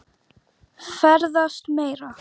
Ferðast meira.